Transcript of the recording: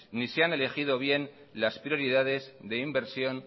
ni se han elegido bien las prioridades de inversión